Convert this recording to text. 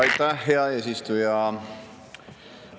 Aitäh, hea eesistuja!